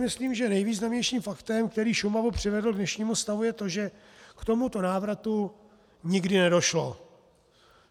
Myslím, že nejvýznamnějším faktem, který Šumavu přivedl k dnešnímu stavu, je to, že k tomuto návratu nikdy nedošlo.